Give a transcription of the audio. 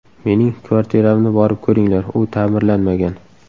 Mening kvartiramni borib ko‘ringlar, u ta’mirlanmagan.